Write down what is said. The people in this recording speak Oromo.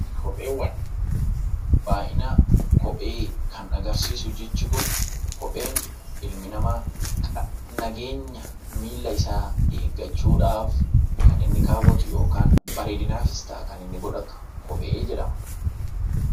Kopheewwan baay'ina jecha argarsiisu jechi kun ilmi namaa nageenya miila isaa eeggachuudhaaf kan inni kaawwatu yookaan bareedinaaf ta'a kan inni godhatu kophee jedhama.